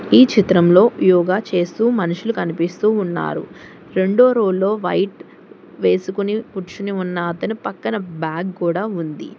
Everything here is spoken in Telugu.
ఈ చిత్రంలో యోగా చేస్తూ మనుషులు కనిపిస్తూ ఉన్నారు రెండో రో లో వైట్ వేసుకుని కుర్చుని ఉన్న అతను పక్కన బ్యాగ్ కూడా ఉంది.